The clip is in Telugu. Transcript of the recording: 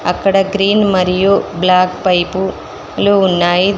అక్కడ గ్రీన్ మరియు బ్లాక్ పైపు లో ఉన్నాయి.